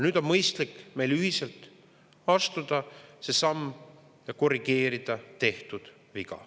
Nüüd on mõistlik meil ühiselt astuda see samm ja korrigeerida tehtud viga.